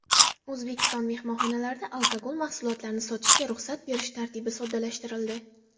O‘zbekiston mehmonxonalarida alkogol mahsulotlarini sotishga ruxsat berish tartibi soddalashtirildi.